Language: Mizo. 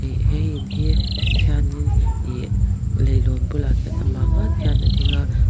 he in hi tikhianin ihh leilawn bulah khian amah ngawt khian a ding a.